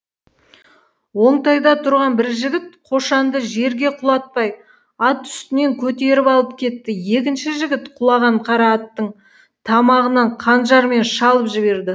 оңтайда тұрған бір жігіт қошанды жерге құлатпай ат үстінен көтеріп алып кетті екінші жігіт құлаған қара аттың тамағынан қанжармен шалып жіберді